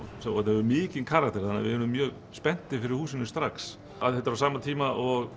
hefur mikinn karakter þannig að við urðum mjög spenntir fyrir húsinu strax að þetta er á sama tíma og